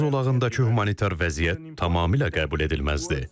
Qəzza zolağındakı humanitar vəziyyət tamamilə qəbul edilməzdir.